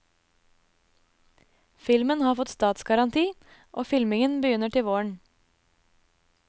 Filmen har fått statsgaranti, og filmingen begynner til våren.